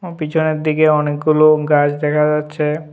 পিছনের দিকে অনেকগুলো গাছ দেখা যাচ্ছে।